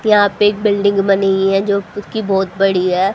यहां पे एक बिल्डिंग बनी है जो खुद की बहुत बड़ी है।